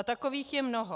A takových je mnoho.